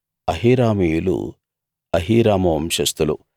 అహీరామీయులు అహీరాము వంశస్థులు